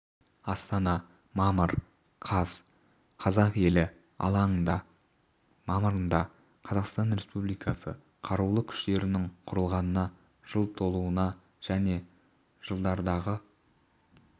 астана мамыр қаз қазақ елі алаңында мамырында қазақстан республикасы қарулы күштерінің құрылғанына жыл толуына және жылдардағы